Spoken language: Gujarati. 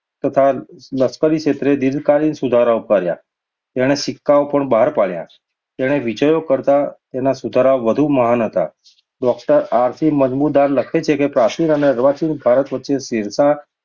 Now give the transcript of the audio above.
તથા લશ્કરીક્ષેત્રે દીર્ધકાલીન સુધારાઓ કર્યા. તેણે સિક્કાઓ પણ બહાર પાડ્યા. તેના વિજયો કરતાં તેના સુધારાઓ વધુ મહાન હતા. ડૉ. આર. સી, મજુમદાર લખે છે કે પ્રાચીન અને અર્વાચીન ભારત વચ્ચે શેરશાહ